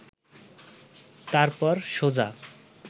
তারপর সোজা